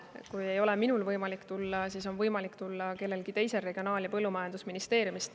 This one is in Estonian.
Kui ei ole minul võimalik tulla, siis on võimalik tulla kellelgi teisel Regionaal- ja Põllumajandusministeeriumist.